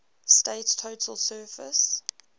state's total surface